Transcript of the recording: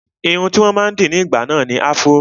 Irun tí wọ́n máa ń dì ní ìgbà náà ni afro